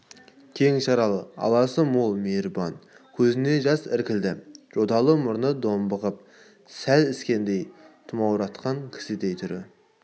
кең шаралы аласы мол мейірбан көзіне жас іркілді жоталы мұрны домбығып сәл іскендей тұмауратқан кісідей түрі